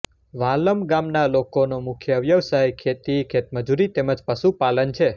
વાલમ ગામના લોકોનો મુખ્ય વ્યવસાય ખેતી ખેતમજૂરી તેમ જ પશુપાલન છે